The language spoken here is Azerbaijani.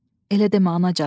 Elə demə anacan.